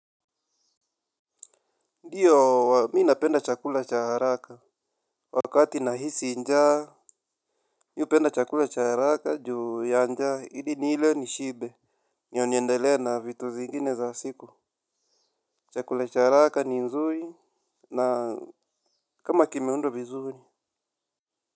Ndiyo, mimi napenda chakula cha haraka. Wakati nahisi njaa. Mimi hupenda chakula cha haraka juu ya njaa, ili nile nishibe. Ndio niendelea na vitu zingine za siku. Chakula cha haraka ni nzuri na kama kimeundwa vizuri.